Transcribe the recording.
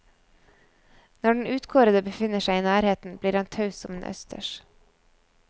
Når den utkårede befinner seg i nærheten, blir han taus som en østers.